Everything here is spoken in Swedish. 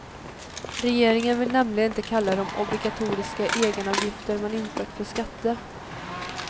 Regeringen vill nämligen inte kalla de obligatoriska egenavgifter man infört för skatter.